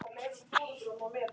Það var og!